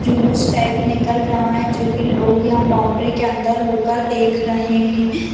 जुलूस टाइप निकल रहा है जो की लोग यहाँ बाउंड्री के अन्दर होकर देख रहे है।